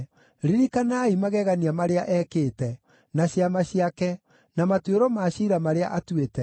Ririkanai magegania marĩa ekĩte, na ciama ciake, na matuĩro ma ciira marĩa atuĩte,